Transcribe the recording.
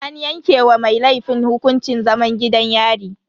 An yanke wa mai laifin hukuncin zaman gidan yari.